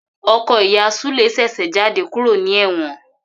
Ọkọ ìyá Sule ṣèṣe jáde kúrò ní ewon